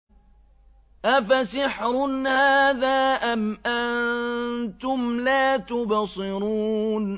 أَفَسِحْرٌ هَٰذَا أَمْ أَنتُمْ لَا تُبْصِرُونَ